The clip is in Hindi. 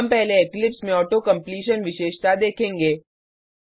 हम पहले इक्लिप्स में ऑटो कम्प्लीशन विशेषता देखेंगे